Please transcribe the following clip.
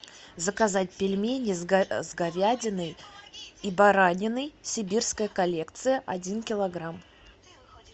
заказать пельмени с говядиной и бараниной сибирская коллекция один килограмм